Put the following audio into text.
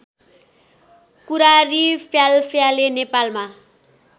कुरारी फ्यालफ्याले नेपालमा